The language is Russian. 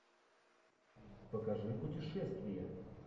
покажи путешествие